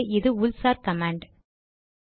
ஆகவே இது உள் சார் கமாண்ட்